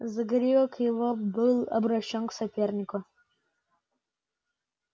загривок его был обращён к сопернику